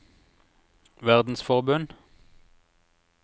verdensforbund